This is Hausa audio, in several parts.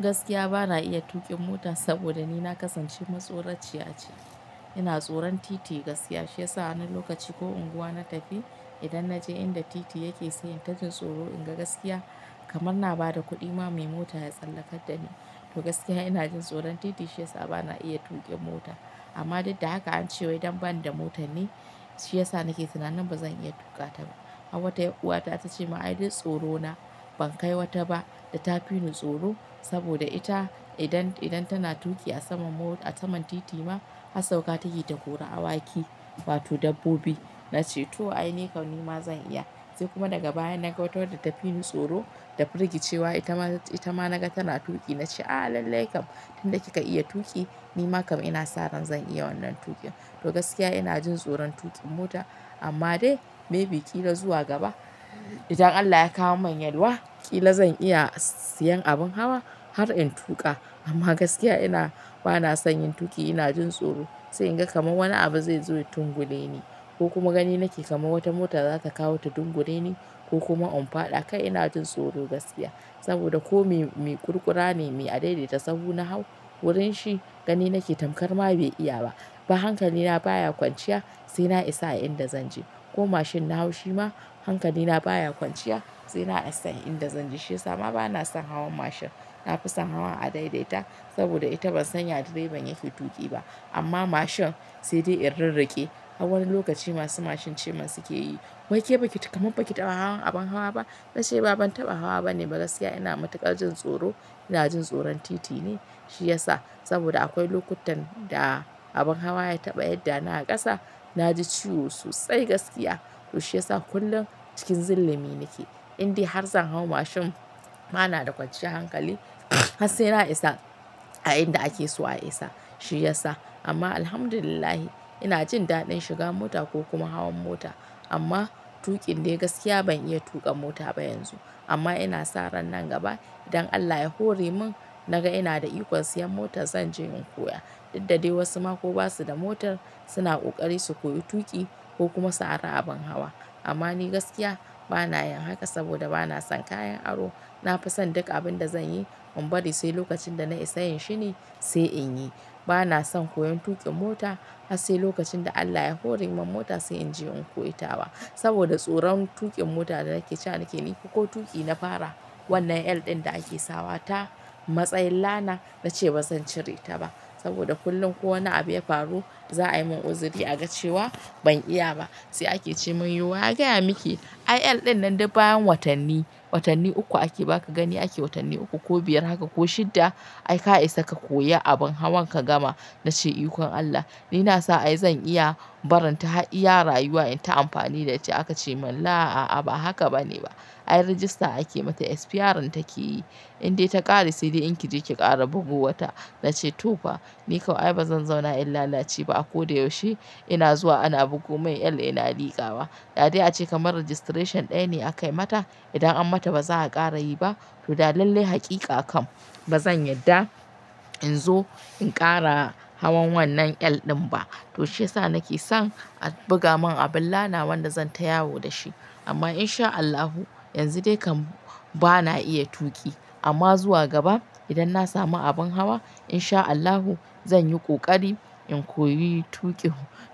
Gaskiya bana iya tuƙin mota saboda ni na kasance matsoraciya ce. Ina tsoron titi gaskiya shiyasa wani lokaci ko unguwa na tafi idan na je inda titi yake sai in tajin tsoro in ga gaskiya kamar na ba da kuɗi ma mai mota ya tsallakar da ni. To gaskiya ina jin tsoron titi shiyasa bana iya tuƙin mota amma duk da hakq an ce wai dan ban da mota ne shiyasa nake tunanin bazan iya tuƙa ta ba. Har wata yar uwa ta ta ce min "Ai duk tsoro na, ban kai wata ba da ta fi ni tsoro saboda ita idan tana tuƙi a saman titi ma har sauka take ta kora awaki wato dabbobi". Na ce to ai ni kam nima zan iya. Sai kuma daga baya na ga wata wanda ta fi ni tsoro da firgicewa ita ma naga tana tuƙi na ce "A lalai kam idan kika iya tuƙi nima kam ina sa ran zan iya wannan tuƙin". To gaskiya ina jin tsoron tuƙin mota amma dai maybe ƙila zuwa gaba idan Allah ya kawo min yalwa ƙila zan iya siyan abin hawa har in tuƙa. Amma gaskiya bana son yin tuƙi, ina jin tsoro sai in ga kamar wani abu zai zo ya tunkuɗe ni ko kuma gani nake kamar wata mota za ta kawo ta dungure ni ko kuma in faɗa kai ina jin tsoro gaskiya saboda ko mai kurkura ne, mai adaidaita sahu na hau wurin shi gani nake tamkar ma bai iya ba. Ba hankali na baya kwanciya sai na isa a inda zan je ko mashin na hau shi ma hankali na baya kwanciya sai na isa a inda zan je. Shiyasa ma bana son hawan mashin, na fi son hawan adaidaita saboda ita ban san ya direban yake tuƙi ba. Amma mashin sai dai in ririƙe har wani lokaci masu mashin ce masu yake yi. "Wai ke baki kamar baki taɓa hawan abin hawa ba?" Na ce ba ban taɓa hawa bane ba. Gaskiya ina matukar jin tsoro, ina jin tsoron titi ne shiyasa saboda akwai lokutan da abin hawa ya taɓa yadda na kasa na ji ciwo sosai gaskiya. To shiyasa kullum cikin zillumi nake inda har zan hau mashin bana da kwanciyar hankali har sai na isa a inda ake so a isa shiyasa. Amma Alhamdulillah ina jin daɗin shiga mota ko kuma hawan mota amma tuƙin dai gaskiya ban iya tuƙa mota ba yanzu. Amma ina sa ran nan gaba idan Allah ya hore min naga ina da iko siyan mota zan je in koya. Duk da dai wasu ma ko ba su da motar suna ƙoƙari su koyi tuƙi ko kuma su ara abin hawa. Amma ni gaskiya bana yin haka saboda bana son kayan aro. Na fi son duk abin da zan yi in bari sai lokacin da na isa yin shi ne sai in yi. Bana son koyon tuƙin mota har sai lokacin da Allah ya hore min mota sai in je in koyi tawa saboda tsoron tuƙin mota da nake cewa nake nufi ko tuƙi na fara wannan L ɗin da ake sawa ta matsayin la na. Na ce bazan cire ta ba saboda kullum ko wani abu ya faru za a yi min uzuri aga cewa ban iya ba. Sai ake ce min "Yiwa ya gaya miki ai L ɗin nan duk bayan watanni, watanni uku ake baka gani ake watanni uku ko biyar haka ko shidda ai ka isa ka koyi abin hawan ka gama". Na ce iko Allah ni na sa ai zan iya barin ta har iya rayuwa in ta amfani da ita aka ce min la a'a ba haka bane ba. Ai rajista ake mata SPR in take yi inda ta ƙare sai dai in ki je ki ƙara bugo wa ta. Na ce to fa ni kawai bazan zauna in lalace ba. A ko da yaushe ina zuwa ana bugo mun L ina liƙa wa. Da a ce kamar registration ɗaya ne aka yi mata idan an mata ba za a ƙara yi ba to dai lalai hakika kam bazan yadda in zo in ƙara hawan wannan L ɗin ba. To shiyasa nake son a buga mun abin la na wanda zan ta yawo da shi. Amma insha Allahu yanzu dai kam bana iya tuƙi amma zuwa gaba idan na samu abin hawa insha Allahu zan yi ƙoƙari in koyi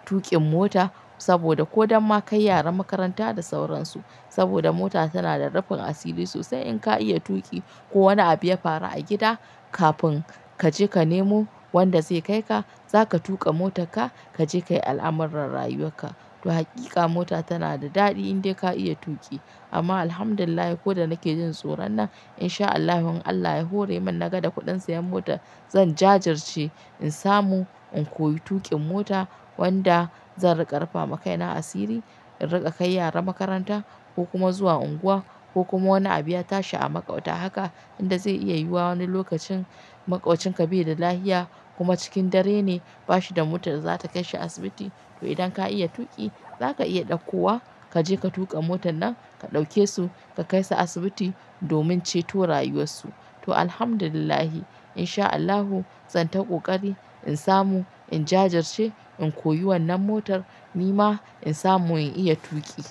tuƙin mota saboda ko dama kai yaran makaranta da sauransu saboda mota tana da rufin asiri sosai. In ka iya tuƙi ko wani abu ya faru a gida kafin ka je ka nemo wanda zai kai ka, za ka tuƙa motarka, ka je ka yi al'amuran rayuwarka. To hakika mota tana da daɗi in dai ka iya tuƙi amma Alhamdulillah ko da nake jin tsoron nan insha Allahu in Allah ya hore min naga da kuɗin siyan mota zan jajirce in samu in koyi tuƙin mota wanda zan riƙa rufa ma kai na asiri, in riƙa kai yara makaranta ko kuma zuwa unguwa ko kuma wani abu ya tashi a maƙwabta haka inda zai iya yiwu wani lokacin maƙwabcin ka bai da lafiya kuma cikin dare ne ba shi da motar da za ta kai shi asibiti. To idan ka iya tuƙi za ka iya ɗauko wa ka je ka tuƙa motan nan ka ɗauke su ka kai su asibiti domin ceto rayuwarsu. To Alhamdulillah insha Allahu zan ta ƙoƙari in samu in jajirce in koyi wannan motar nima in samu in iya tuƙi.